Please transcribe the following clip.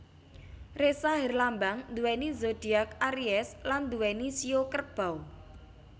Ressa herlambang nduweni zodiak aries lan nduweni shio Kerbau